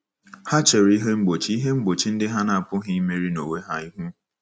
Ha chere ihe mgbochi ihe mgbochi ndị ha na-apụghị imeri n'onwe ha ihu.